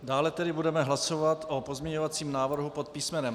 Dále tedy budeme hlasovat o pozměňovacím návrhu pod písm.